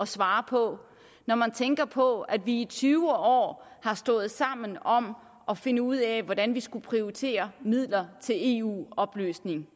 svare på når man tænker på at vi i tyve år har stået sammen om at finde ud af hvordan vi skulle prioritere midler til eu oplysning